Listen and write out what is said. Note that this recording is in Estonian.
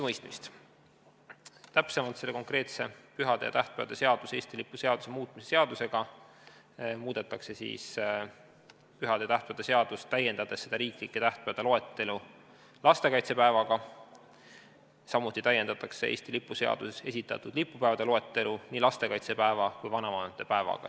Täpsemalt muudetakse selle konkreetse pühade ja tähtpäevade seaduse ning Eesti lipu seaduse muutmise seadusega pühade ja tähtpäevade seadust, täiendades riiklike tähtpäevade loetelu lastekaitsepäevaga, samuti täiendatakse Eesti lipu seaduses esitatud lipupäevade loetelu nii lastekaitsepäeva kui ka vanavanemate päevaga.